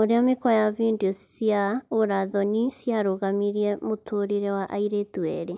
ũrĩa mĩkwa ya video cia ũra thoni ciarũgamirie mũtũrĩre wa airĩtu erĩ